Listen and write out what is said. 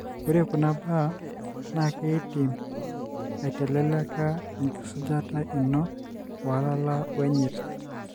Ore kuna baa na kidim aiteleleka engisujata ino olala wenyirt.